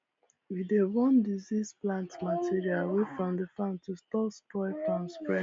we dey burn diseased plant material away from the farm to stop spores from spread